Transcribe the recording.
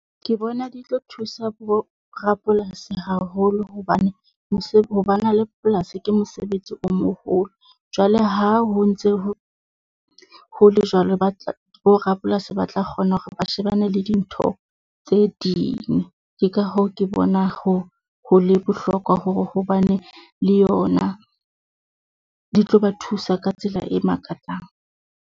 Ke bona di tlo thusa bo rapolasi haholo hobane, ho bana le polasi ke mosebetsi o moholo, jwale ha ho ntse ho, ho le jwalo bo rapolasi ba ba tla kgona hore ba shebane le dintho tse ding. Ke ka hoo ke bona ho, ho le bohlokwa hobane le yona di tlo ba thusa ka tsela e makatsang.